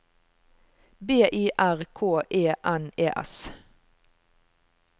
B I R K E N E S